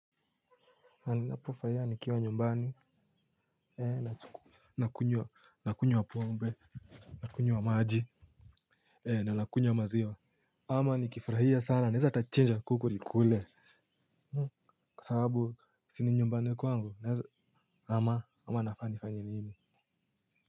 Naninapofurahia nikiwa nyumbani ee nakunywa nakunywa pombe nakunywa maji ee na nakunywa maziwa. Ama nikifurahia sana naeza hata chinja kuku nikule. Kwa sababu si ni nyumbani kwangu ama ama nafani fanye nini.